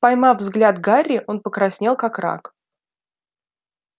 поймав взгляд гарри он покраснел как рак